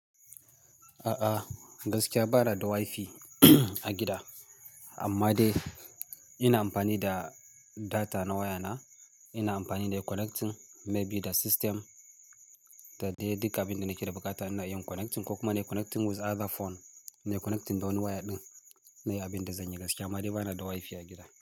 A'a, gaskiya ba ni da wifi a gida. Amma dai ina amfani da data na waya na, ina amfani da connecting maybe da system, da dai duka abin da nake da buƙata ina yin connecting ko kuma connecting with other phone, nayi connecting da wani waya ɗin, nayi abin da zan yi gaskiya. Amma dai ba ni da wifi a gida.